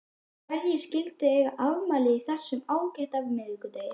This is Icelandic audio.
Hverjir skyldu eiga afmæli á þessum ágæta miðvikudegi?